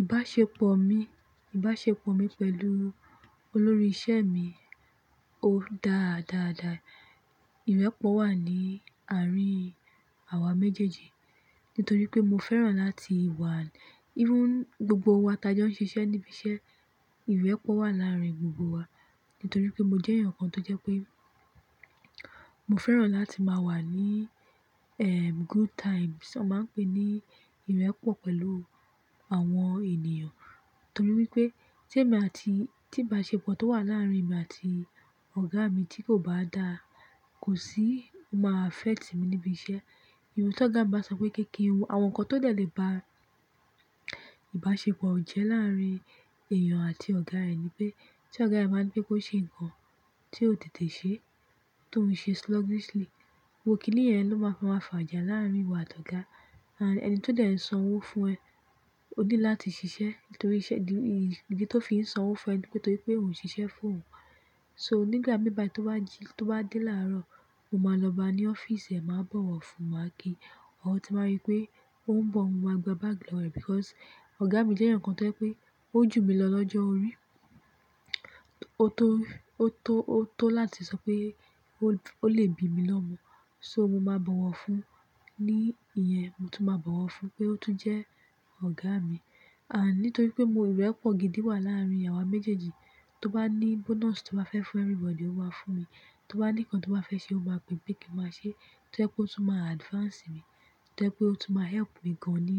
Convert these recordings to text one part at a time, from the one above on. Ìbáṣepọ̀ mi pẹ̀lú olórí iṣẹ́ mi dára dáadáa. Ìrẹ́pọ̀ wà ní àárín awa méjèèjì, nítorí pé mo fẹ́ràn láti wà, even gbogbo wa t'ẹ jẹ́ ó ń ṣiṣẹ́ níbi iṣẹ́, ìrẹ́pọ̀ wà láàrin gbogbo wa. Nítorí pé mo jẹ́ èèyàn kan tó jẹ́ pé mo fẹ́ràn láti máa wà ní, good times, à má ń pè é ní ìrẹ́pọ̀ pẹ̀lú àwọn ènìyàn. Nítorí wípé tí èmi àti, tí ìbáṣepọ̀ tó wà láàrin mi àti ọ̀gá mi tí kò bá dáa, kò sí máa affect mi níbi iṣẹ́. Ìbi tọ́ ọ̀gá bá sọ pé kéékèé, àwọn nǹkan tó jẹ́ lè bá ìbáṣepọ̀ jẹ́ láàrin èèyàn àti ọ̀gá rẹ̀ ni pé tí ọ̀gá ẹ bá ní pé kó ṣe nǹkan tí ó tètè ṣe tó ń ṣe sluggishly, gbogbò kíní yẹ́n lọ́ máa fi ma fàjà láàrin ìwọ àti ọ̀gá. And ẹni tó dẹ̀ ń san owó fún ẹ, ó ní láti ṣiṣẹ́ nítoríṣe, ìdí tó fi ń san owó fún ẹ ní pé torí pé òun ń ṣiṣẹ́ fún òun. So nígbà mí báyi tó bá jí, tó bá dé láàárọ̀, mo máa lọ bá a ní ọ́fíìsì ẹ, màá bọ̀wọ̀ fún un máa kí i. Tí bá rí pé ó ń bọ̀, mo máa gba báàgì lọ rẹ̀ because ọ̀gá mi jẹ́ èèyàn kan tó jẹ́ pé ó jù mí lọ lọ́jọ́ orí. Ó tó, ó tó, ó tó láti sọ pé ó lè bi mí lọ́mọ. So mo máa bọ̀wọ̀ fún un. Ní ìyẹn mo tún máa bọ̀wọ̀ fún un pé ó tún jẹ́ ọ̀gá mi. And nítorí pé mo, ìrẹ́pọ̀ gidi wà láàrin wa méjèèjì, tó bá ní bonus tó bá fẹ́ fún everybody, ó má fún mi. Tó bá ní nǹkan tó bá fẹ́ ṣe, ó máa pè pé kí n máa ṣe. Tó jẹ́ pé ó tún máa advance mi, tó jẹ́ pé ó tún máa help mi gan ní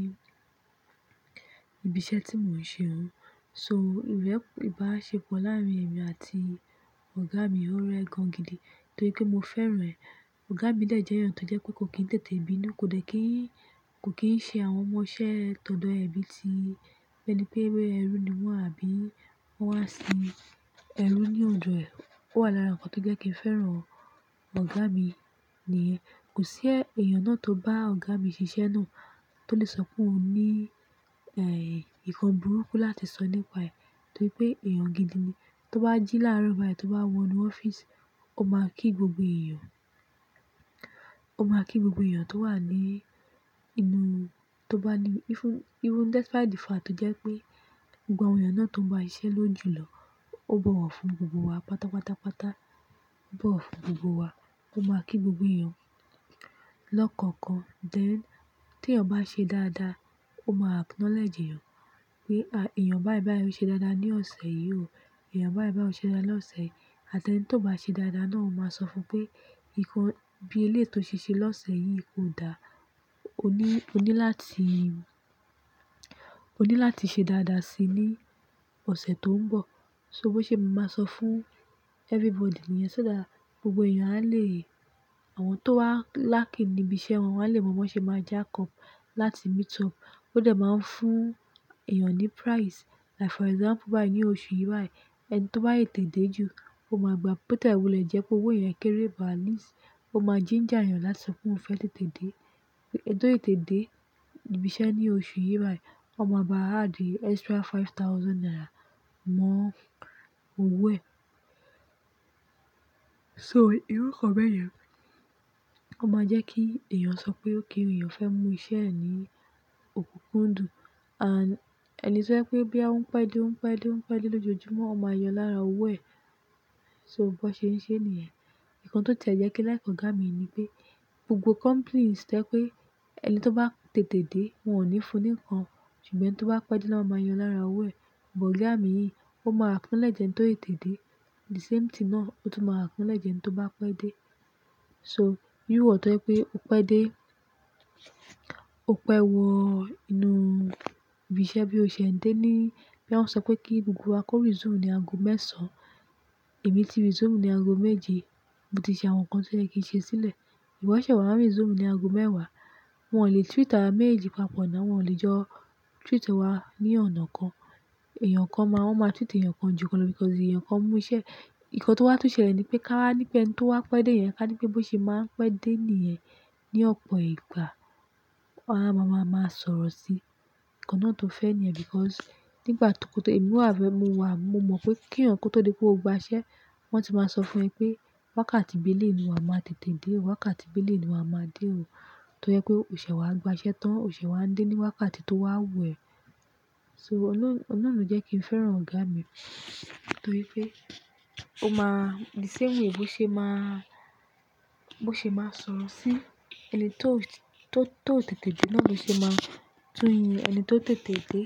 ibi iṣẹ́ tí mò ń ṣe hun. So ìrẹ́pọ̀, ìbáṣepọ̀ láàrin èmi àti ọ̀gá mi ó rẹ gan gidi nítorí pé mo fẹ́ràn ẹ. Ọ̀gá mi jẹ́ èèyàn tó jẹ́ kó kò kín tètè bínú, kò dẹ̀ kí í, kò kín ṣe àwọn ọmọ-ṣẹ́ tọ̀dọ̀ ẹ bí tí ẹni pé ewé ẹrú ni wọ́n àbí wọ́n wá sí ẹrú ní òdọ̀ rẹ̀. Ó wà lára nǹkan tó jẹ́ kí n fẹ́ràn ọ̀gá mi ní Kò sí èèyàn náà tó bá ọ̀gá mi ṣiṣẹ́ náà tó lè sọ pé òun ní, eh, nǹkan burúkú láti sọ nípa rẹ̀ nítorí pé èèyàn gidi ni. Tó bá jí láàárọ̀ báyìí, tó bá wọ inú ọ́fíìsì, ó máa kí gbogbo èèyàn. Ó máa kí gbogbo èèyàn tó wà ní inú, tó bá ní, even, even despite the fact jẹ́ pé gbogbo àwọn èèyàn náà tó ń bá iṣẹ́ ló ń jù lọ, ó bọ̀wọ̀ fún gbogbo wa, pata, pata, pata, o bọ̀wọ̀ fún gbogbo wa. Ó máa kí gbogbo èèyàn lọ́kàn-kan. Then tí ẹ̀yàn bá ṣe dáadáa, ó máa acknowledge èèyàn pé, "Èèyàn báìbàí ṣe dáadáa ní ọ̀sẹ̀ yìí o. Èèyàn báìbàí ṣe dáadáa lọ́sẹ̀." Àti ẹni tí kò bá ṣe dáadáa náà ó máa sọ fún un pé, "Nǹkan bí eléyi to ṣiṣẹ́ lọ́sẹ̀ yìí kò dáa. O ní, o ní láti, o ní láti ṣe dáadáa si ní ọ̀sẹ̀ tó ń bọ̀." So bó ṣe màá sọ fún everybody ni yẹ́n ṣo that, gbogbo èèyàn á lè, àwọn tó wá lacking níbi iṣẹ́ wọn, wọ́n á lè mọ bó ṣe máa jack up láti meet up. Ó dẹ̀ máa ń fún èèyàn ní prize. Like for example báyìí, ní oṣù yìí báyìí, ẹni tó bá tètè dè jù, ó máa gba bottle wulẹ jẹ pé owó èèyàn kéré but at least ó máa ginger èèyàn láti sọ pé òun fẹ́ tètè dé. Ẹni tó tète dè ibi iṣẹ́ ní oṣù yìí báyìí, ó máa bá add extra five thousand naira mọ́ owó ẹ̀. So irú nǹkan bẹ́ẹ̀ yẹn ó máa jẹ́ kí èèyàn sọ pé ó kí èèyàn fẹ́ mú iṣẹ́ ẹ̀ ní òkúkúndùn. And ẹni tí ó jẹ́ pé bí a ń pẹ́ dé, ń pẹ́ dé, ń pẹ́ dé lójoojúmọ́, ó máa yo lára owó ẹ̀. So bó ṣe ń ṣe ní yẹ̀n. Ìkan tó tẹ̀ jẹ́ kí like ọ̀gá mi ní pé gbogbo companies jẹ́ pé ẹni tó bá tètè dé, wọ́n ò ní fún un nǹkan. Ṣùgbọ́n tó bá pẹ́ dé ló máa yan lára owó ẹ̀. But ọ̀gá mi yìí, ó máa acknowledge ẹni tó ètèdè. The same thing náà ó tún máa acknowledge ẹni tó bá pẹ́ dé. So iru iwọ̀ tó jẹ́ pé o pẹ́ dé, o pẹ́ wọ inú ibi iṣẹ́ bí o ṣe ń dé ní boya wọ́n sọ pé kí gbogbo wa kó resume ní ago mẹ́sàn-án. Èmi tí resume ní ago méje, mo ti ṣe àwọn nǹkan tó jẹ́ kí n ṣe sílẹ̀. Ìwo sèṣẹ̀ wà n resume ní ago mẹ́wàá. Wọn ò lè treat awa méjeji papọ̀ ná, wọ́n ò lè jọ treat wa ní ọ̀nà kan. Ẹ̀yàn kan máa, wọ́n máa treat èèyàn kan jù lọ because èèyàn kan mú iṣẹ́. Ìkan tó wá tú ṣẹlẹ̀ ni pé ká wá ní pé ẹni tó wá pẹ́ dé yẹn ká ní pé bó ṣe máa ń pẹ́ dé ní ẹ̀ ní ọ̀pọ̀ ìgbà. Wọ́n á máa, máa sọ̀rọ̀ sí. Ìkan náà tó fẹ́ ni ẹ because nígbà tókọtò èmi wà fẹ́, mo wà, mo mọ̀ pé kí èèyàn ko tó di pé o gba iṣẹ́, wọ́n ti máa sọ fún ẹ pé wákàtí bí elèyi ní wà máa tètè dé o. Wákàtí bí eleyi ní wà máa dé o. Tó jẹ́ pé ò ṣè wà gba iṣẹ́ tán, ò ṣè wà ń dé ní wákàtí tó wà wù ẹ́. So ọ̀nà náà jẹ́ kí n fẹ́ràn ọ̀gá mi nítorí pé ó máa the same way bó ṣe máa, bó ṣe máa sọ̀rọ̀ sí ẹni tó, tó, tó tètè dé náà ló ṣe máa tún yín ẹni tó tètè dé.